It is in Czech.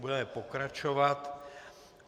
Budeme pokračovat.